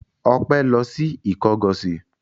Ọpẹ́ lọ sí Ìkọgọ̀sì?